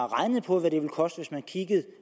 regnet på hvad det ville koste hvis man